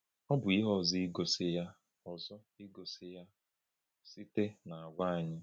Ọ bụ ihe ọzọ igosi ya ọzọ igosi ya site n’àgwà anyị.